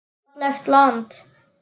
Fallegt land.